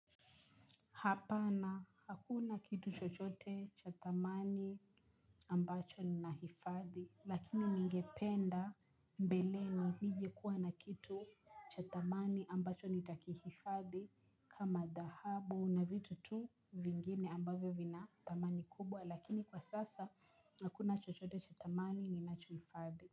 Hapana hakuna kitu chochote cha thamani ambacho ni nahifadhi lakini ningependa mbeleni nije kuwa na kitu cha thamani ambacho nitaki hifadhi kama dhahabu na vitu tu vingine ambavyo vina thamani kubwa lakini kwa sasa hakuna chochote cha thamani ninacho hifadhi.